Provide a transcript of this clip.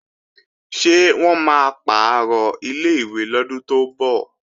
Ṣé wọ́n máa pàrọ̀ ilé-ìwé lọ́dún tó ń bọ̀?